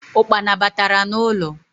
Ụkpana batara n’ụlọ